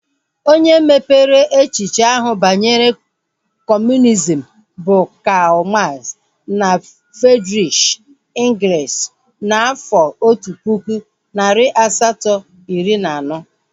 Onye mepere echiche ahu banyere kọmunizm bụ Karl Max na Friedrish Engels n'afọ otu pụkụ, narị asato, iri na anọ